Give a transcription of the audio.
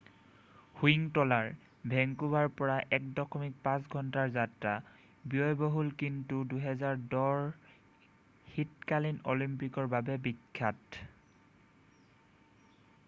Whistler ভেংকুভাৰৰ পৰা ১.৫ ঘন্টাৰ যাত্ৰা ব্যয়বহুল কিন্তু ২০১০ ৰ শীতকালীন অলিম্পিকৰ বাবে বিখ্যাত।